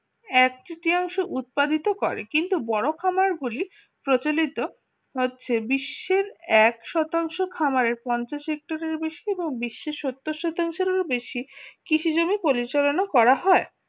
একচেটিয়াংশ উৎপাদিত করে কিন্তু বড় খামারগুলি প্রচলিত হচ্ছে বিশ্বের এক শতাংশ খামারের পঞ্চ সেক্টরের বেশি এবং বিশ্বের সত্তর শতাংশ বেশি কৃষি জমি পরিচালনা করা হয়